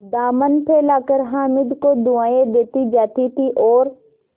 दामन फैलाकर हामिद को दुआएँ देती जाती थी और